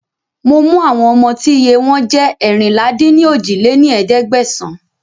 Mo mú àwọn ọmọ tí iye wọn jẹ́ eérinlá-dín-ní-ojì lé ní ẹ̀ẹ́dẹ́gbẹ́sán